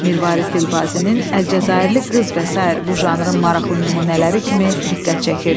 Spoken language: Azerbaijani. Mirvarid Dilbazinin Əlcəzairli qız və sair bu janrın maraqlı nümunələri kimi diqqət çəkirdi.